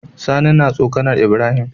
Sani na tsokAnar ibrahim